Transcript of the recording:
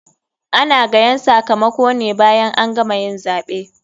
Ana gayan sakamakone bayan an gama yin zaɓe.